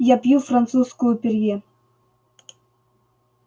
я пью французскую перье